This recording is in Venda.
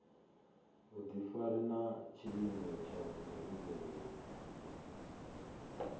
vhudifari na tshiimo tsha muhumbulo